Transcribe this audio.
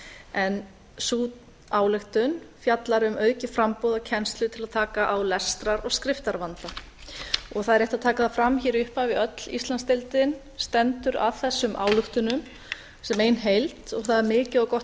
en sú ályktun fjallar um aukið framboð á kennslu til að taka á lestrar og skriftarvanda það er rétt að taka það fram hér í upphafi að öll íslandsdeildin stendur að þessum ályktunum sem ein heild og það er mikið og gott